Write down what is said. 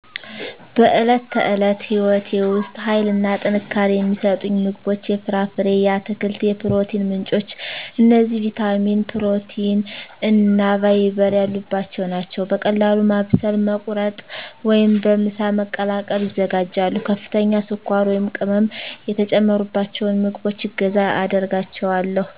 በዕለት ተዕለት ሕይወቴ ውስጥ ኃይልና ጥንካሬ የሚሰጡኝ ምግቦች የፍራፍሬ፣ የአትክልት የፕሮቲን ምንጮች እነዚህ ቪታሚን፣ ፕሮቲን እና ፋይበር ያሉባቸው ናቸው። በቀላሉ ማብሰል፣ መቁረጥ ወይም በምሳ መቀላቀል ይዘጋጃሉ። ከፍተኛ ስኳር ወይም ቅመም የተጨመሩባቸውን ምግቦች እገዛ አደርጋቸዋለሁ።